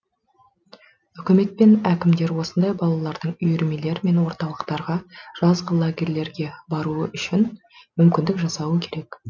үкімет пен әкімдер осындай балалардың үйірмелер мен орталықтарға жазғы лагерьлерге баруы үшін мүмкіндік жасауы керек